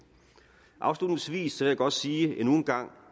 afslutningsvis vil jeg godt sige endnu en gang